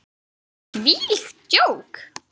Þvílíkt djók!